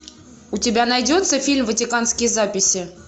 у тебя найдется фильм ватиканские записи